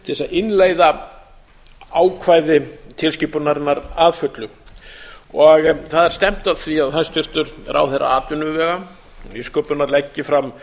innleiða ákvæði tilskipunarinnar að fullu það er stefnt að því að hæstvirtur ráðherra atvinnuvega og nýsköpunar leggi fram